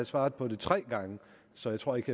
svaret på det tre gange så jeg tror ikke